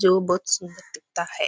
जो बहुत सुंदर दिखता है।